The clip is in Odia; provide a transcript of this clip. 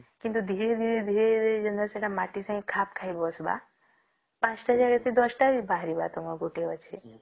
କିନ୍ତୁ ଧୀରେ ଧୀରେ ଧୀରେ ସେଟା ଯେମିତି ମାଟି ସଂଗେ ଖାପ ଖାଇ ବସିବା ୫ ତ ଜାଗାରେ ସେ ୧୦ ତ ବାହାରିବା ସେଟା ଗୋଟେ ଗଛେ